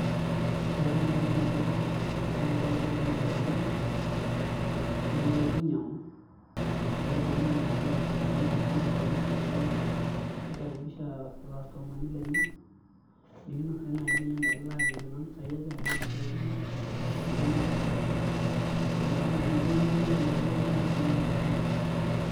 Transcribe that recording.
Ore naai enaiko iltung'anak pee eyiolou bei oonkilani naa tenepuo aanyiang'u naa kelikini naa bei amu kainepu kulo tung'anak oomirr ajo kikaribisha irkastomani lenye nikinasaki naai bei enda kila ajoki enoompisaai aja enaa mpisai kumok etii enoompisai kuti ore naa tina naa kakilikini naa iyiolou naa bei oonkilani.